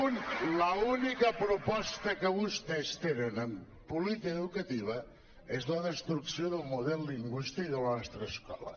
i l’única proposta que vostès tenen en política educativa és la destrucció del model lingüístic de la nostra escola